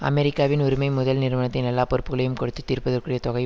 அமெரிக்காவின் உரிமை முதல் நிறுவனத்தின் எல்லா பொறுப்புக்களையும் கொடுத்து தீர்ப்பதற்குரிய தொகை